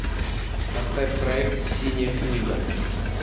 поставь проект синяя книга